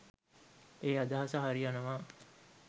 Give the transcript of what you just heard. ඒ අදහස හරි යනවා